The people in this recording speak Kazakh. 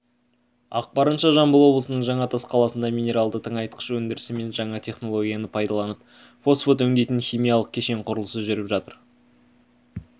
ақпарынша жамбыл облысының жаңатас қаласында минералды тыңайтқыш өндірісі мен жаңа технологияны пайдаланып фосфат өңдейтін химиялық кешен құрылысы жүріп жатыр